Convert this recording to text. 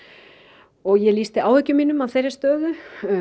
og ég lýsti áhyggjum mínum af þeirri stöðu